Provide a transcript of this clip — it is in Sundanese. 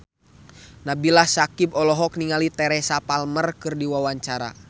Nabila Syakieb olohok ningali Teresa Palmer keur diwawancara